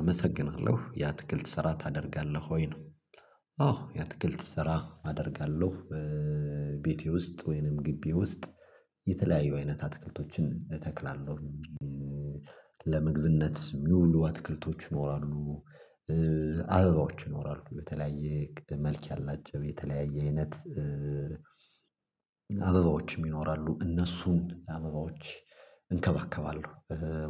አመሰግናለሁ ያ ትግል ትሰራ ታደርጋለህ ወይ ነው? አዎ ያ ትግል ትሰራ አደርጋለሁ። ቤቴ ውስጥ ወይንም ግቢ ውስጥ የተለያዩ አይነት አትክልቶችን እተክላለሁ። ለምግብነት የሚውሉ አትክልቶች ይኖራሉ። አበባዎች ይኖራሉ በተለያየ መልክ ያላቸው የተለያየ አይነት አበባዎችም ይኖራሉ እነሱን አበባዎች እንከባከባለሁ።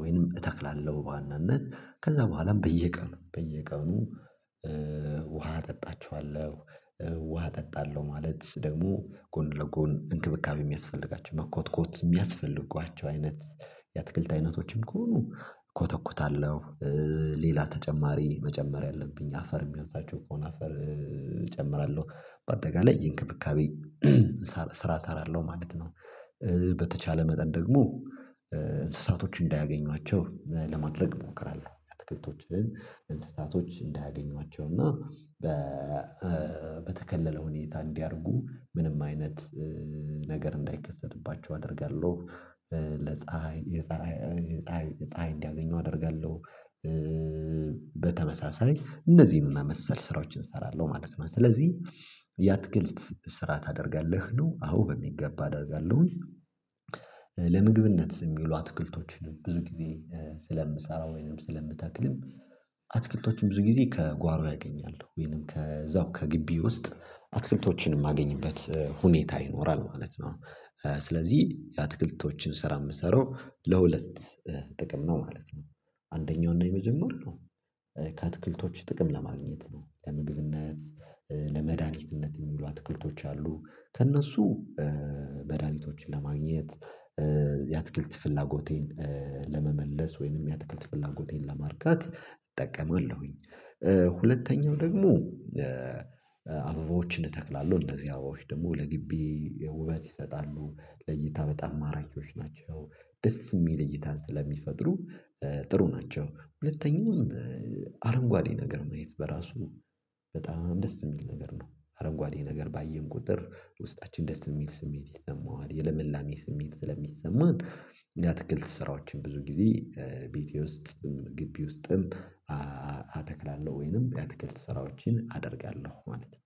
ወይንም እተክላለሁ በዋናነት ከዛ በኋላም በየቀኑ በየቀኑ ውሃ እጠጣቸኋለሁ። ውሃ እጠጣለሁ ማለት ደግሞ ጎን ለጎን እንክብካቤ የሚያስፈልጋቸው መኮትኮት የሚያስፈልጓቸው አይነት የትክልት አይነቶችም ከሆኑ እኮተኩታለሁ። ሌላ ተጨማሪ መጨመር ያለብኝ አፈር የሚያውታቸው ከሆነ አፈር እጨምራለሁ አጠቃላይ ይሄ እንክብካቤ ስራ እሰራለሁ ማለት ነው። በተቻለ መጠን ደግሞ እንስሳቶች እንዳያገኟቸው ለማድረግ እሞክራለሁ አትክልቶችን እንስሳቶች እንዳያገኟቸው እና በተከለለ ሁኔታ እንዲያርጉ ምንም አይነት ነገር እንዳይከሰትባቸው አደርጋለሁ። ለፀሀይ የፀሀይ ፀሀይ እንዲያገኙ አደርጋለሁ። በተመሳሳይ እነዚህን መሰል ስራዎችን እሰራለሁ ማለት ነው። ስለዚህ የአትክልት ስራ ታደርጋለህ ነው? አሁን በሚገባ አደርጋለሁኝ። ለምግብነት የሚሉ አትክልቶችን ብዙ ጊዜ ስለምሰራው ወይንም ስለምታክልም አትክልቶችን ብዙ ጊዜ ከጓሮ ያገኛሉ ወይንም ከዛው ከግቢ ውስጥ አትክልቶችንም እማገኝበት ሁኔታ ይኖራል ማለት ነው። ስለዚህ የአትክልቶችን ስራ የምትሰረው ለሁለት ጥቅም ነው ማለት ነው። አንደኛው ነኝ መጀመር ነው ከአትክልቶች ጥቅም ለማግኘት ነው። ለምግብነት ለመድኃኒትነት የሚውሉ አትክልቶች አሉ ከእነሱ መድሃኒቶችን ለማግኘት የአትክልት ፍላጎቴን ለመመለስ ወይንም የአትክልት ፍላጎቴን ለማርካት እጠቀማለሁኝ። ሁለተኛው ደግሞ አበባዎችን እተክላለሁ እነዚህ አበባዎች ደግሞ ለግቢ ውበት ይሰጣሉ ለይታ በጣም ማራኪዎች ናቸው። ደስ የሚል እይታን ስለሚፈጥሩ ጥሩ ናቸው ሁለተኛውም አረንጓዴ ነገር ማየት በራሱ በጣም ደስ የሚል ነገር ነው አረንጓዴ ነገር ባየን ቁጥር ውስጣችን ደስ የሚል ስሜት ይሰማዋል የለመላሜ ስሜት ስለሚሰማን። የአትክልት ስራዎችን ብዙ ጊዜ ቤቴ ውስጥም ግቢ ውስጥም። አተክላለሁ ወይንም የአተክልት ስራዎችን አደርጋለሁ ማለት ነው